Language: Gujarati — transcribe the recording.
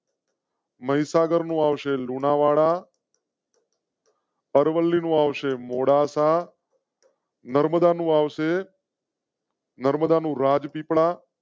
મહિસાગર માં આવશે લુણાવાડા. અરવલ્લી નું આવશે મોડાસા. નર્મદા નું આવશે. નર્મદા નું રાજપીપળા.